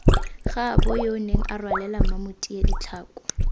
gaaboyoo nenga rwalela mmamotia ditlhako